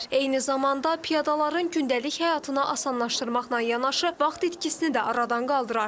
Eyni zamanda piyadaların gündəlik həyatını asanlaşdırmaqla yanaşı vaxt itkisini də aradan qaldırar.